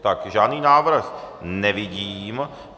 Tak, žádný návrh nevidím.